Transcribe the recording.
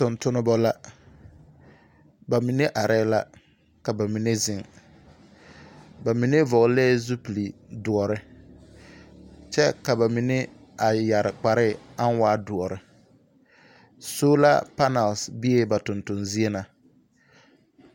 Tontonebɔ la. Ba mine arɛɛ la, ka ba mine zeŋ. Ba mine vɔglɛɛ zupilidoɔre, kyɛ ka ba mine a yare kparee aŋ waa doɔre . Sola panɛl beɛ ba tontozie na.